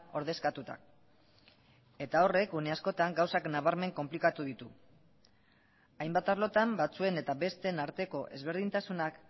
ordezkatuta eta horrek une askotan gauzak nabarmen konplikatu ditu hainbat arlotan batzuen eta besteen arteko ezberdintasunak